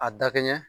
A dakɛɲɛ